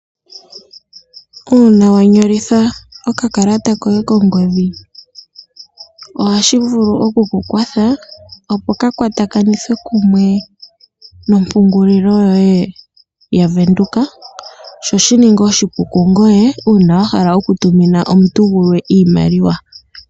Uuna wanyolitha okakalata koye kongodhi ohashi vulu okukukwatha opo ka kwatakanithe kumwe nompungulilo yoye ya Venduka sho shininge oshipu kongoye uuna wahala okutumina omuntu gulwe iimaliwa.